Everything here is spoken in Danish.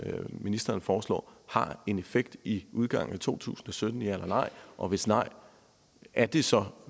ministeren foreslår har en effekt i udgangen af to tusind og sytten ja eller nej og hvis nej er det så